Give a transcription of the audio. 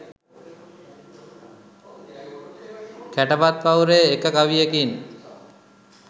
කැටපත් පවුරේ එක කවියකින්